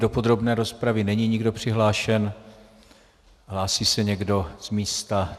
Do podrobné rozpravy není nikdo přihlášen, hlásí se někdo z místa?